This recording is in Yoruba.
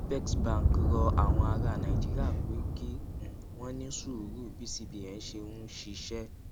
apex bank rọ àwọn ará nàìjíríà pé kí um wọn ní sùúrù bí cbn ṣe ń ṣiṣé